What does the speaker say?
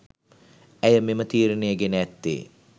ඇය මෙම තීරණය ගෙන ඇත්තේ